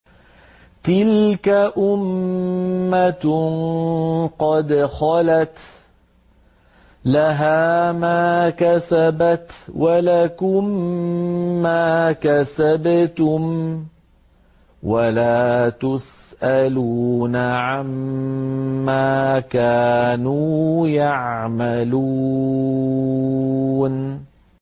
تِلْكَ أُمَّةٌ قَدْ خَلَتْ ۖ لَهَا مَا كَسَبَتْ وَلَكُم مَّا كَسَبْتُمْ ۖ وَلَا تُسْأَلُونَ عَمَّا كَانُوا يَعْمَلُونَ